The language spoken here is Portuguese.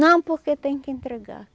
Não, porque tem que entregar.